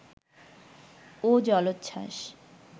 ও জলোচ্ছ্বাস